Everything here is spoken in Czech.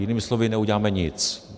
Jinými slovy, neuděláme nic.